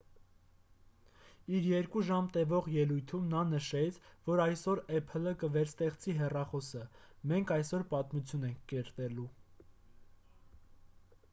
իր 2 ժամ տևող ելույթում նա նշեց որ «այսօր apple-ը կվերստեղծի հեռախոսը. մենք այսօր պատմություն ենք կերտելու»։